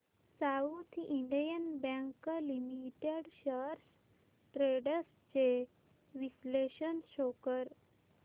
south Indian Bank Limited shares trends चे विश्लेषण show कर